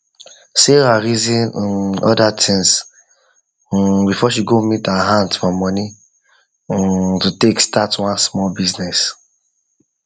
sarah reason um other things um before she go meet her aunt for money um to take start one small business